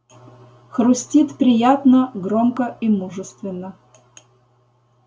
хрустит приятно громко и мужественно